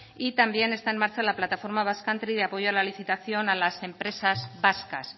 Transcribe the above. y también está en marcha la plataforma basque country de apoyo a la licitación a las empresas vascas